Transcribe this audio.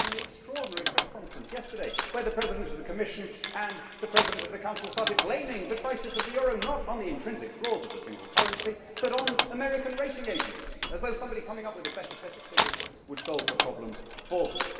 We saw it in the extraordinary press conference yesterday, where the President of the Commission and the President of the Council started blaming the crisis of the euro not on the intrinsic flaws of the single currency but on American rating agencies, as though somebody coming up with a better set of figures would solve the problem for them.